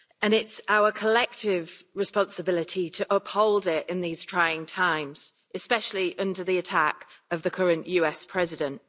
It is our collective responsibility to uphold it in these trying times, especially under the attack of the current US President.